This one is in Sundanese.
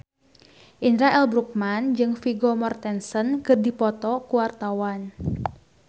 Indra L. Bruggman jeung Vigo Mortensen keur dipoto ku wartawan